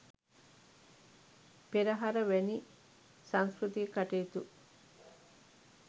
පෙරහර වැනි සංස්කෘතික කටයුතු